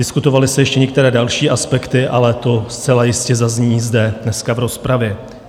Diskutovaly se ještě některé další aspekty, ale to zcela jistě zazní zde dneska v rozpravě.